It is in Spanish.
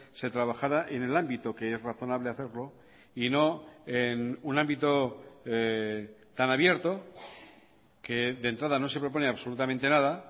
se trabajara en el ámbito que es razonable hacerlo y no en un ámbito tan abierto que de entrada no se propone absolutamente nada